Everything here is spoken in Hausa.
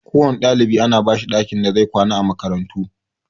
Kowanne ɗalibi ana bashi ɗakin da zai kwana a makarantu